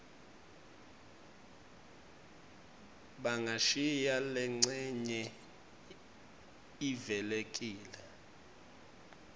bangashiya lencenye ivulekile